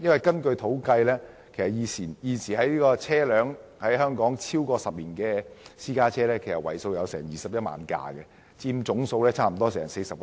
據統計，在香港，現時車齡超過10年的私家車約有21萬輛，佔總數近 40%。